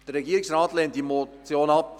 Der Regierungsrat lehnt diese Motion ab.